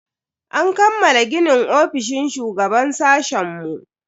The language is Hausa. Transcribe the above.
An kammala ginin ofishin shugaban sashen mu.